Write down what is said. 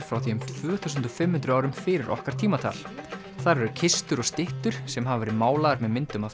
frá því um tvö þúsund og fimm hundruð árum fyrir okkar tímatal þar eru kistur og styttur sem hafa verið málaðar með myndum af